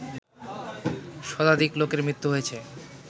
শতাধিক লোকের মৃত্যু হয়েছে